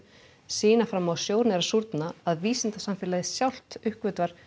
sýna fram á að sjórinn er að súrna að vísindasamfélagið sjálft uppgötvar